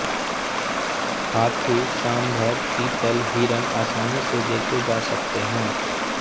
हाथी सांभर चीतल हिरन आसानी से देखे जा सकते हैं